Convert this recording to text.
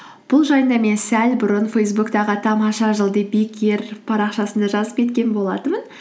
бұл жайында мен сәл бұрын фейсбуктағы тамаша жыл парақшасында жазып кеткен болатынмын